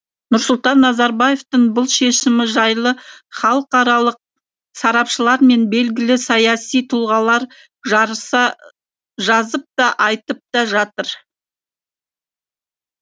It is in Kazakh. нұрсұлтан назарбаевтың бұл шешімі жайлы халықаралық сарапшылар мен белгілі саяси тұлғалар жарыса жазып та айтып та жатыр